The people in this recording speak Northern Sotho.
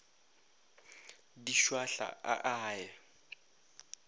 di šwahla a a ye